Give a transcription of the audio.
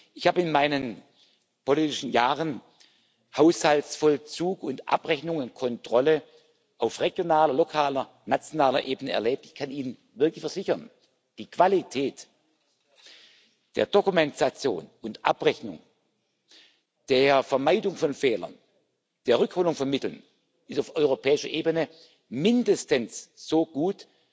Ich habe in meinen politischen Jahren Haushaltsvollzug und Abrechnungskontrolle auf regionaler, lokaler und nationaler Ebene erlebt. Ich kann Ihnen wirklich versichern Die Qualität der Dokumentation und Abrechnung, der Vermeidung von Fehlern, der Rückholung von Mitteln ist auf europäischer Ebene mindestens so gut